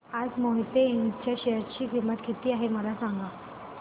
आज मोहिते इंड च्या शेअर ची किंमत किती आहे मला सांगा